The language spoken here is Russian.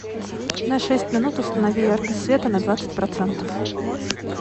на шесть минут установи яркость света на двадцать процентов